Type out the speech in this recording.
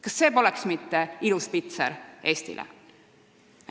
" Kas see poleks mitte ilus pitser Eestile?